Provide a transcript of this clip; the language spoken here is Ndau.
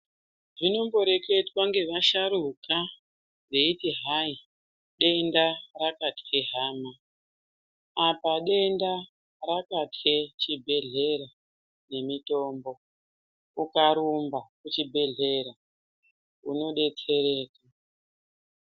Zvinondo reketwa nge vasharuka veiti hai denda rakatye hama apa denda rakatye chi bhedhlera ne mitombo uka rumba ku chibhedhlera uno detserwa.